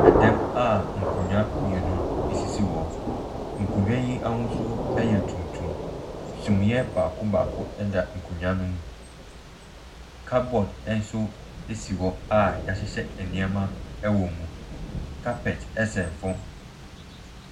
Ɛdɔn a nkonnwa mmienu sisi hɔ. Nkonnwa yi ahosuo yɛ tuntum. Sumiiɛ baako baako ɛda nkonnwa no mu. Kabɔdo no so si hɔ a yɛahyehyɛ nneɛma wɔ mu. Kapɛt sɛ fam.